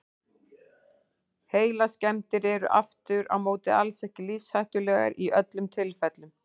Heilaskemmdir eru aftur á móti alls ekki lífshættulegar í öllum tilfellum.